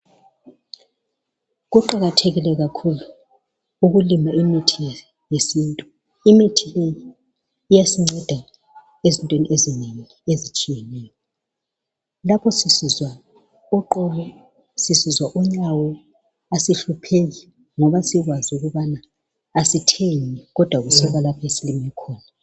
Kuqakathekile kakhulu ukulima imithi yesintu imithi leyiiyasinceda ezintweni ezinengi ezitshiyeneyo lapho sisizwa oqolo sisizwa onyawo asihlupheka ngoba sikwazi ukubana asithengi kodwa kusuka lapho esilime khona.